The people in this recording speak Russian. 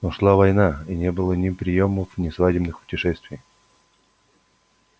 но шла война и не было ни приёмов ни свадебных путешествий